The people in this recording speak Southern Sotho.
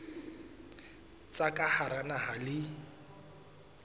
tsa ka hara naha le